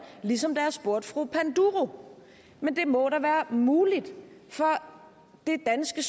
ligesom da jeg spurgte fru panduro men det må da være muligt for det danske